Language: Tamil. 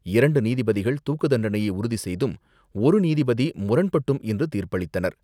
இரண்டு நீதிபதிகள் தூக்குத்தண்டனையை உறுதி செய்தும், ஒரு நீதிபதி முரண்பட்டும் இன்று தீர்ப்பளித்தனர்.